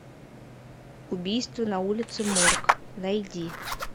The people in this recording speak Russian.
убийство на улице морг найди